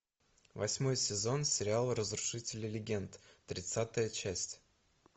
восьмой сезон сериала разрушители легенд тридцатая часть